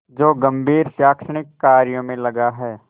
जो गंभीर शैक्षणिक कार्यों में लगा है